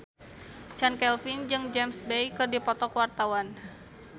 Chand Kelvin jeung James Bay keur dipoto ku wartawan